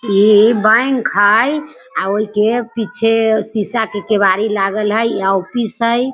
ई bank हई और ईके पीछे शिशा के केवाड़ी लागल हई आउ ऑफिस हई |